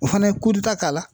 O fana ye ta k'a la